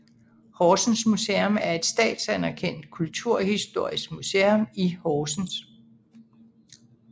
Horsens Museum er et statsanerkendt kulturhistorisk museum i Horsens